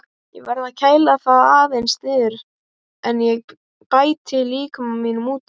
Ég verð að kæla það aðeins niður áður en ég bæti líkama mínum út í.